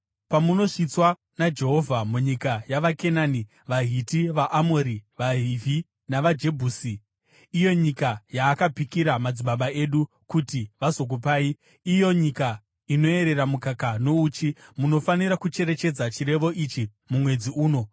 Pamunosvitswa naJehovha munyika yavaKenani, vaHiti, vaAmori, vaHivhi, navaJebhusi, iyo nyika yaakapikira madzibaba enyu kuti vazokupai iyo, nyika inoyerera mukaka nouchi, munofanira kucherechedza chirevo ichi mumwedzi uno.